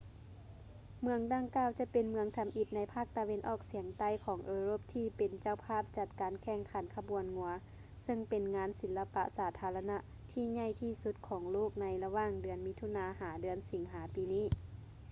ເມືອງດັ່ງກ່າວຈະເປັນເມືອງທຳອິດໃນພາກຕາເວັນອອກສຽງໃຕ້ຂອງເອີຣົບທີ່ເປັນເຈົ້າພາບຈັດການແຂ່ງຂັນຂະບວນງົວ ເຊິ່ງເປັນງານສິລະປະສາທາລະນະທີ່ໃຫຍ່ທີ່ສຸດຂອງໂລກໃນລະຫວ່າງເດືອນມິຖຸນາ ຫາ ເດືອນສິງຫາປີນີ້